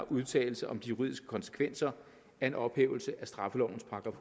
udtalelse om de juridiske konsekvenser af en ophævelse af straffelovens §